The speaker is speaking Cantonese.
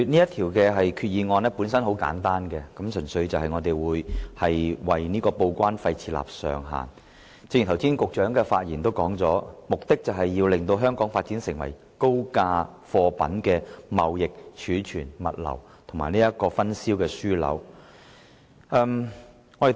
代理主席，其實政府動議這項決議案的目的十分簡單，純粹是就報關費設定上限，因為正如局長剛才在發言中指出，政府的策略目標是把香港發展為高價貨品的貿易、儲存、物流和分銷樞紐。